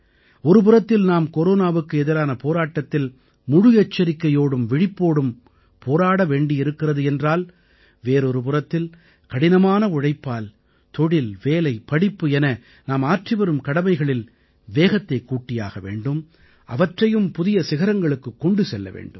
ஒருபுறத்தில் நாம் கொரோனாவுக்கு எதிரான போராட்டத்தில் முழு எச்சரிக்கையோடும் விழிப்போடும் போராட வேண்டி இருக்கிறது என்றால் வேறொரு புறத்தில் கடினமான உழைப்பால் தொழில் வேலை படிப்பு என நாம் ஆற்றிவரும் கடமைகளில் வேகத்தைக் கூட்டியாக வேண்டும் அவற்றையும் புதிய சிகரங்களுக்குக் கொண்டு செல்ல வேண்டும்